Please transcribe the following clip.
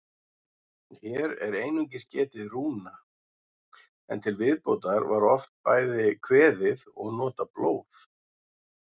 Hér er einungis getið rúna, en til viðbótar var oft bæði kveðið og notað blóð.